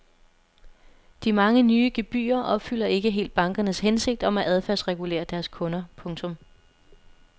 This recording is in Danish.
De mange nye gebyrer opfylder ikke helt bankernes hensigt om at adfærdsregulere deres kunder. punktum